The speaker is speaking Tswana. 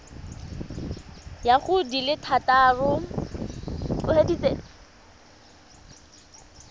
ya go di le thataro